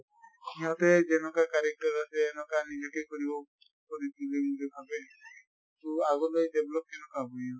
সিহঁতে যেনকা কাৰেকতৰ আছে এনকা নিজেকে কৰিব কৰি বুলি ভাবে। তʼ আগলৈ develop কেনেকৈ হʼব ইহঁতৰ।